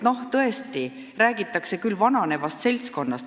Ja tõesti räägitakse vananevast seltskonnast.